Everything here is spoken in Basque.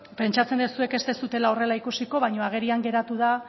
pentsatzen dut zuek ez duzuela horrela ikusiko baina agerian geratu da